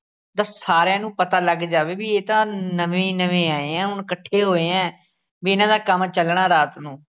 ਦਾ ਸਾਰਿਆਂ ਨੂੰ ਪਤਾ ਲੱਗ ਜਾਵੇ ਬਈ ਇਹ ਤਾਂ ਨਵੇਂ ਨਵੇਂ ਆਏ ਆ ਹੁਣ ਇਕੱਠੇ ਹੋਏ ਏ, ਬਈ ਇਹਨਾਂ ਦਾ ਕੰਮ ਚੱਲਣਾ ਰਾਤ ਨੂੰ